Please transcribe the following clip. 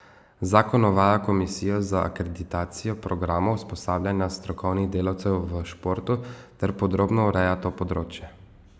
Zakon uvaja komisijo za akreditacijo programov usposabljanja strokovnih delavcev v športu ter podrobno ureja to področje.